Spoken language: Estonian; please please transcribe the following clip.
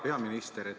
Hea peaminister!